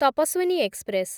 Tapaswini express